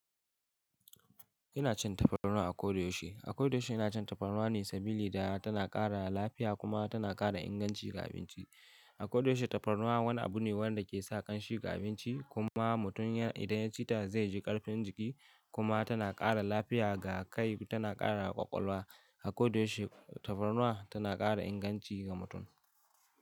Ina cin tafarnuwa a ko da yaushe. A ko da yaushe ina cin tafarnuwa ne saboda tana ƙara lafiya kuma tana ƙara inganci ga abinci. A ko da yaushe tafarnuwa wani abu ne wanda ke sa ƙanshi ga abinci kuma mutum idan ya ci ta zai ji ƙarfin jiki kuma tana ƙara lafiya ga kai, tana ƙara ƙwaƙwalwa. A ko da yaushe tafarnuwa tana ƙara inganci ga mutum.